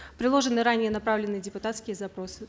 приложены ранее направленные депутатские запросы